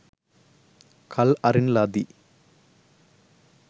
කල් අරින ලදී.